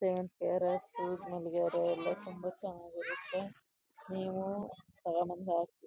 ಸೇವಂತಿಗೆ ಹಾರ ಸೂಜಿ ಮಲ್ಲಿಗೆ ಹಾರ ಎಲ್ಲ ತುಂಬಾ ಚೆನ್ನಾಗಿರುತ್ತೆ ನೀವು ತಗೋ ಬಂದ್ ಹಾಕಿ .